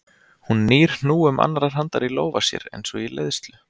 Hún nýr hnúum annarrar handar í lófa sér eins og í leiðslu.